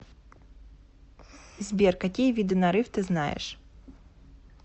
сбер какие виды нарыв ты знаешь